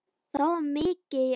Það var mikið í ánni.